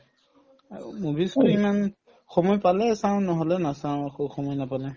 আৰু movies ৰ ইমান সময় পালে চাও নহলে নাচাও আকৌ সময় নাপালে